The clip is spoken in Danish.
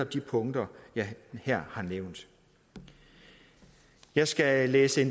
de punkter jeg her har nævnt jeg skal læse